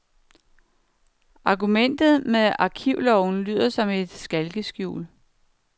Argumentet med arkivloven lyder som et skalkeskjul.